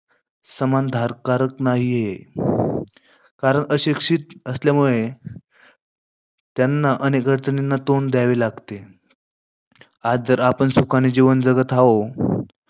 समानताधारक नाही. आहे कारण अशिक्षित असल्यामुळे त्यांना अनेक अडचणींना तोंड द्यावे लागते. आज जर आपण सुखाने जीवन जगत आहो,